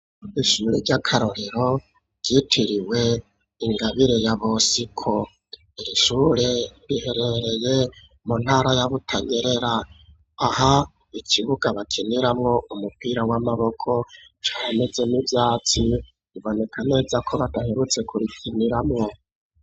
Ishure ry'akarorero ryitiriwe ingabire ya bosiko irishure biherereye mu ntara ya butanyerera aha ikibuga bakiniramwo umupira w'amaboko cameze m'ivyatsi iboneka neza ko badaherutse kurikiniramwo.